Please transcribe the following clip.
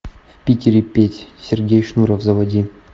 в питере петь сергей шнуров заводе